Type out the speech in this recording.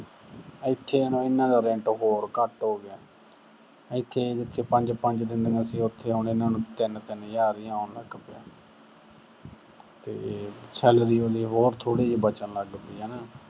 ਇੱਥੇ ਹੁਣ ਇਹਨਾਂ ਦਾ rent ਹੋਰ ਘੱਟ ਹੋ ਗਿਆ। ਇੱਥੇ ਇਹੇ, ਜਿੱਥੇ ਪੰਜ-ਪੰਜ ਦਿੰਦੀਆਂ ਸੀ, ਤੇ ਇੱਥੇ ਹੁਣ ਇਹਨਾਂ ਨੂੰ ਤਿੰਨ-ਤਿੰਨ ਹਜ਼ਾਰ ਈ ਆਉਣ ਲੱਗ ਪਿਆ। ਤੇ salary ਉਹਦੀ ਹੋਰ ਥੋੜੀ ਜੀ ਬਚਣ ਲੱਗ ਪਈ ਹਨਾ।